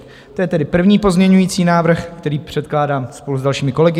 To je tedy první pozměňovací návrh, který předkládám spolu s dalšími kolegy.